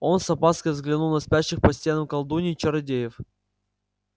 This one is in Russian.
он с опаской взглянул на спящих по стенам колдуний и чародеев